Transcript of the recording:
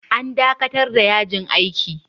An dakatar da yajin aikin.